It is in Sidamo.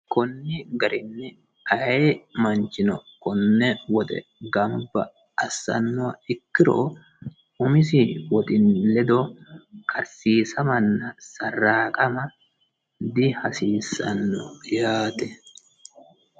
konni garinni ayee manchino konne woxe gamba assannoha ikkiro, umisi woxi lede karsiisamanna sarraaqama dihasiissanno yaate.